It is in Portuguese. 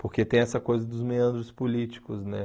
Porque tem essa coisa dos meandros políticos, né?